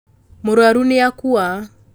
mũrwaru nĩakua